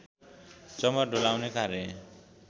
चमर डोलाउने कार्य